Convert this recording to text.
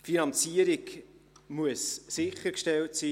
Die Finanzierung muss sichergestellt sein.